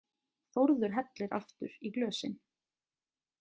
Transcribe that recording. Þórður hellir aftur í glösin.